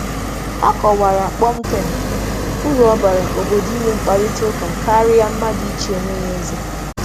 Hà kàrà aka na mkparịta ụka obodo dị mkpa karịa ka otu mmadụ na-asị na ya nwere ikike ime mmụọ.